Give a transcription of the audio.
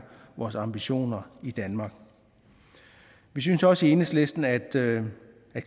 vores ambitioner i danmark vi synes også i enhedslisten at